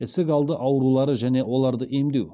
ісік алды аурулары және оларды емдеу